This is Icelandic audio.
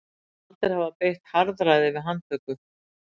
Taldir hafa beitt harðræði við handtöku